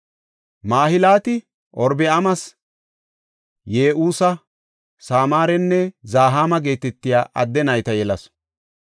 Mahilaata Orobi7aames Ye7usa, Samaarenne Zahaama geetetiya adde nayta yelasu.